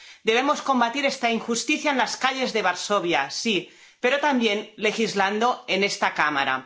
Debemos combatir esta injusticia en las calles de Varsovia, sí, pero también legislando en esta cámara.